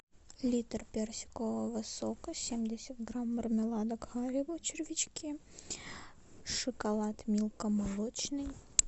литр персикового сока семьдесят грамм мармелада харибо червячки шоколад милка молочный